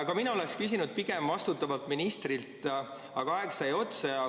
Ka mina oleks küsinud pigem vastutavalt ministrilt, aga aeg sai otsa.